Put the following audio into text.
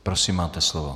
Prosím, máte slovo.